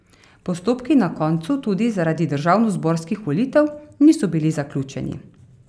Postopki na koncu, tudi zaradi državnozborskih volitev, niso bili zaključeni.